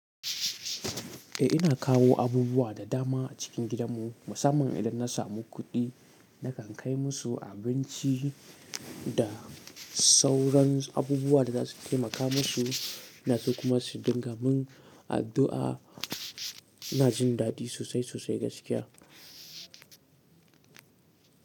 Eh ina kawo abubuwa da dama a cikin gidanmu. Musamman idan na samu kuɗi, nakan kai musu abinci da sauran abubuwa da za su taimaka musu. Ina so kuma su dinga min addu'a. Ina jin dadi sosai, sosai gaskiya.